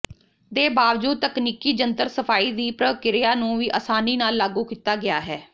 ਦੇ ਬਾਵਜੂਦ ਤਕਨੀਕੀ ਜੰਤਰ ਸਫਾਈ ਦੀ ਪ੍ਰਕ੍ਰਿਆ ਨੂੰ ਵੀ ਆਸਾਨੀ ਨਾਲ ਲਾਗੂ ਕੀਤਾ ਗਿਆ ਹੈ